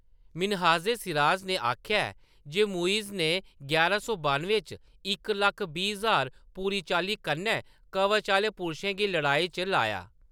मिन्हाज-ए-सिराज ने आखेआ जे मुइज़ ने यारां सौ बानुएं च इक लक्ख बीह् ज्हार पूरी चाल्ली कन्नै कवच आह्‌‌‌ले पुरशें गी लड़ाई च लाया।